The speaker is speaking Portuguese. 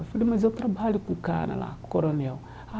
Eu falei, mas eu trabalho com o cara lá, com o coronel. Ah